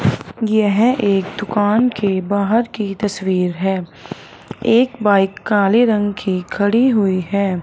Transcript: यह एक दुकान के बाहर की तस्वीर हैं एक बाइक काले रंग की खड़ी हुईं हैं।